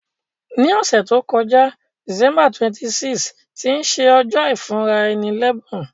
Ní òsẹ̀ to joká, December 26, tí se ojó ìfúnraẹni lẹ́bùn